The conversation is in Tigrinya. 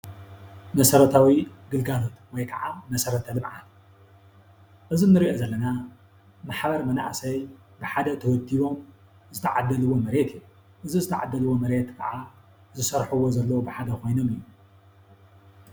መሰረታዊ ግልጋሎት ወይከዓ መሰረታዊ ልምዓት እዚ እንርእዮ ዘለና ብሓባር መናእሰይ ብሓደ ተወዲቦም ዝተዓደለዎ መሬት እዩ። እዚ ዝተዓደለዎ መሬት ከዓ ዝሰርሕዎ ዘለው ብሓደ ኮይኖም እዮም።